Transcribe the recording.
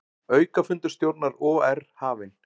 Aukafundur stjórnar OR hafinn